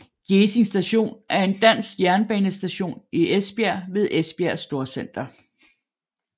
Gjesing Station er en dansk jernbanestation i Esbjerg ved Esbjerg Storcenter